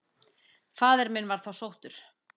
Faðir minn var þá sóttur.